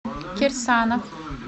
кирсанов